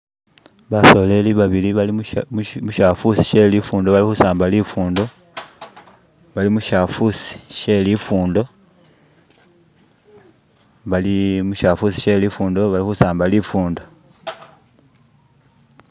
ba'soleli babili bali mu'shafusi she li'fundo bali khu'samba li'fundo bali mu'shafusi sheli'fundo, baali mu'shafusi she li'fundo bali khu samba li'fundo